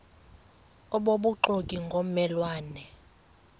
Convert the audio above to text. obubuxoki ngomme lwane